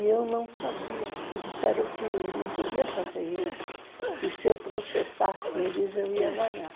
E eu não sabia, me disseram que não podia fazer isso, que se eu processasse eles eu ia ganhar.